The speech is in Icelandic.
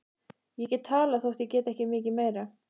Ég get talað þótt ég geti ekki mikið meira.